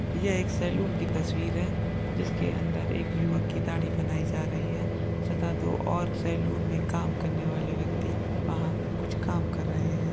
यह एक सैलून की तस्वीर हैं जिसके अंदर एक युवक की दाढ़ी बनाई जा रही हैं सतातो और सैलून में काम करने वाले व्यक्ति वहां कुछ कम कर रहैं हैं।